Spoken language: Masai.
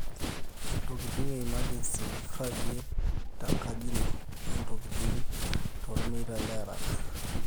ntokitin e emergency ragie tenkaji ino o ntokitin tolmeitai le haraka